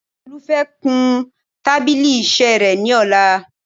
Tolú fẹ́ kun tábílì iṣẹ́ rẹ̀ ni ọ̀la